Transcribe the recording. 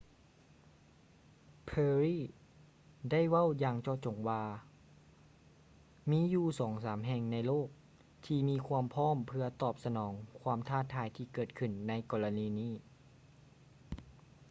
perry ເວົ້າຢ່າງເຈາະຈົງວ່າ ມີຢູ່ສອງສາມແຫ່ງໃນໂລກທີ່ມີຄວາມພ້ອມເພື່ອຕອບສະໜອງຄວາມທ້າທາຍທີ່ເກີດຂື້ນໃນກໍລະນີນີ້